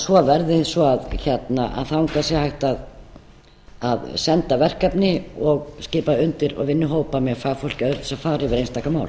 svo verði svo að þangað sé hægt að senda verkefni og skipa undir og vinnuhópa með fagfólki öðru sem fara yfir einstaka mál